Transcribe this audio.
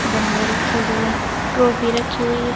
गमले रखे हुए ट्रॉफी रखी हुई है।